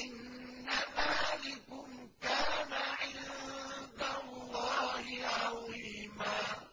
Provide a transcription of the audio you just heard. إِنَّ ذَٰلِكُمْ كَانَ عِندَ اللَّهِ عَظِيمًا